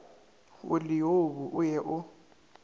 o leobu o ye o